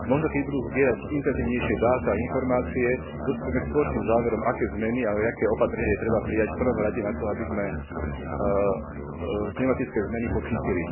Možno keď budú zbierať intenzívnejšie dáta a informácie, dospejeme k spoločným záverom, aké zmeny a aké opatrenie je treba prijať v prvom rade na to, aby sme klimatické zmeny podchytili.